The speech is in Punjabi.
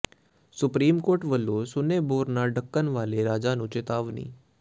ਸੁਪਰੀਮ ਕੋਰਟ ਵੱਲੋਂ ਸੁੰਨੇ ਬੋਰ ਨਾ ਢਕਣ ਵਾਲੇ ਰਾਜਾਂ ਨੂੰ ਚਿਤਾਵਨੀ